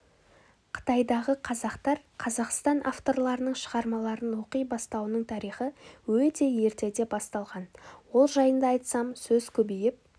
қытайдағы қазақтар қазақстан авторларының шығармаларын оқи бастауының тарихы өте ертеде басталған ол жайында айтсам сөз көбейіп